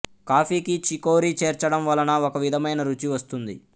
కాఫీకి చికోరీ చేర్చడం వలన ఒక విధమైన రుచి వస్తుంది